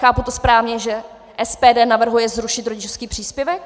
Chápu to správně, že SPD navrhuje zrušit rodičovský příspěvek?